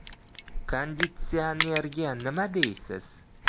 Konditsionerga nima deysiz?